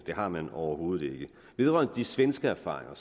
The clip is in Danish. det har man overhovedet ikke vedrørende de svenske erfaringer